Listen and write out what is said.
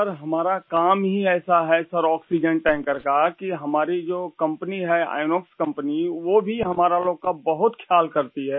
sir हमारा काम ही ऐसा है सरआक्सीजेन टैंकर का कि हमारी जो कंपनी है इनॉक्स कंपनी वो भी हमारा लोग का बहुत ख्याल करती है